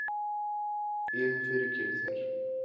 Ég hef fyrirgefið þér.